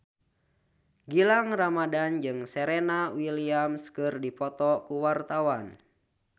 Gilang Ramadan jeung Serena Williams keur dipoto ku wartawan